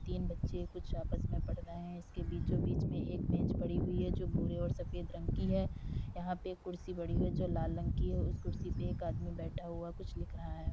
तीन बच्चे कुछ आपस में पढ़ रहे हैं। इसके बीचो बीच में एक मेज पड़ी हुई है जो भूरे और सफेद रंग की है। यहाँ पे कुर्सी बड़ी है जो लाल रंग की है। उस कुर्सी पर एक आदमी बैठा हुआ कुछ लिख रहा है।